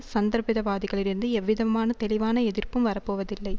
சந்தர்ப்பிதவாதிகளிடிந்து எவ்விதமான தெளிவான எதிர்ப்பும் வரப்போவதில்லை